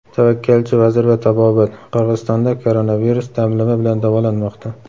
Tavakkalchi vazir va tabobat: Qirg‘izistonda koronavirus damlama bilan davolanmoqda.